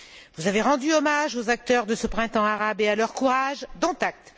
Vous avez rendu hommage aux acteurs de ce printemps arabe et à leur courage, dont acte.